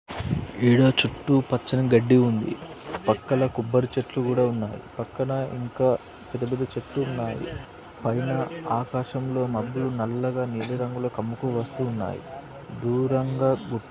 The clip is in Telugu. ఇడా చుట్టూ పచ్చని గడ్డి ఉంది. పక్కల కొబ్బరి చెట్లు కూడా ఉన్నాయి పక్కన ఇంకా పెద్ద-పెద్ద చెట్లున్నాయి పైన ఆకాశంలో మబ్బులు నల్లగా నీలి రంగులో కమ్ముకుని వస్తున్నాయి దూరంగా గు--